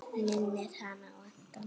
Minnir hana á Anton!